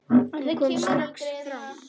Hún kom strax fram.